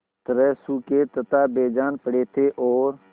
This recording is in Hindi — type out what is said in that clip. तरह सूखे तथा बेजान पड़े थे और